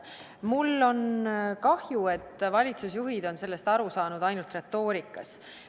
Mul on kahju, et valitsusjuhid on sellest aru saanud ainult retoorikas.